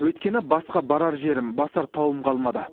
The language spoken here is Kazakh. өйткені басқа барар жерім басар тауым қалмады